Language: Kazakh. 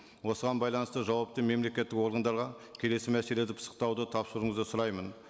осыған байланысты жауапты мемлекеттік органдарға келесі пысықтауды тапсыруыңызды сұраймын